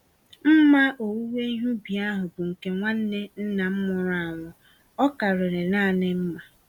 Mma owuwe ihe ubi ahụ bụ nke nwanne nna m nwụrụ anwụ—ọ karịrị nanị mma.